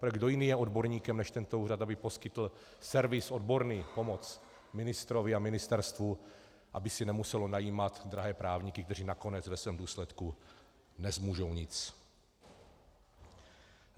Protože kdo jiný je odborníkem než tento úřad, aby poskytl servis odborný, pomoc ministrovi a ministerstvu, aby si nemuselo najímat drahé právníky, kteří nakonec ve svém důsledku nezmůžou nic?